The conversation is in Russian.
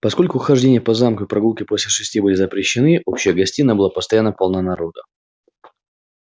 поскольку хождение по замку и прогулки после шести были запрещены общая гостиная была постоянно полна народу